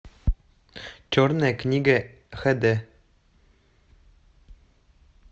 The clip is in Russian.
черная книга хд